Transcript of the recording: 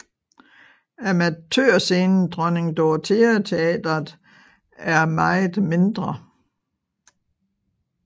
Amatørscenen Dronning Dorothea teatret er meget mindre